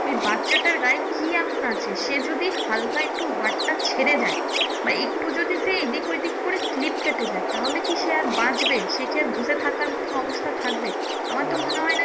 ওই বাচ্ছাটার গায়ে কি এমন আছে সে যদি হালকা একটু হাতটা ছেড়ে দেয় বা একটু যদি সে এইদিক ওইদিক করে slip কেটে যায় তাহলে কি সে আর বাঁচবে সে কি আর বসে থাকার মতন অবস্থায় থাকবে? আমার তো মনে হয়ে না যে